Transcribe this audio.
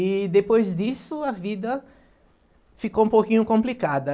E depois disso a vida ficou um pouquinho complicada.